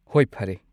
ꯍꯣꯏ, ꯐꯔꯦ꯫